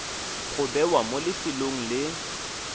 go bewa mo lefelong le